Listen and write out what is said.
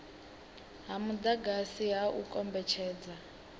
ha mudagasi ha u kombetshedza